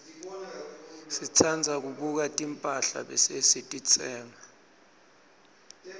sitsandza kubuka timphahla bese sititsenga